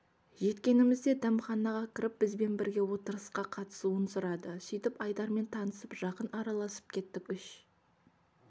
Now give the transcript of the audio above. жеткенімізде дәмханаға кіріп бізбен бірге отырысқа қатысуын сұрады сөйтіп айдармен танысып жақын араласып кеттік үш